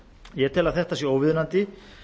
ég tel að þetta sé óviðunandi